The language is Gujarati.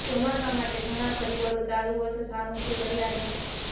ચોમાસા માટે ઘણા પરિબળો ચાલુ વર્ષે સાનુકુળ રહ્યાં છે